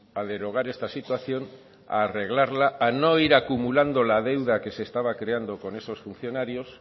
a derogar esta situación a arreglarla a no ir acumulando la deuda que se estaba creando con esos funcionarios